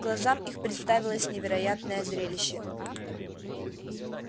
глазам их представилось невероятное зрелище